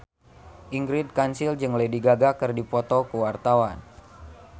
Ingrid Kansil jeung Lady Gaga keur dipoto ku wartawan